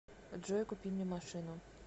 джой купи мне машину